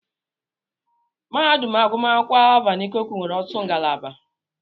Mahadum agụmakwụkwọ Alvan Ikoku nwere ọtụtụ ngalaba.